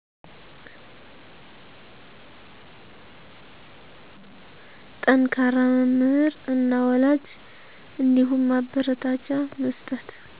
ጠንከራ መምህር እና ወላጅ እንዲሁም ማበረታቻ መስጠት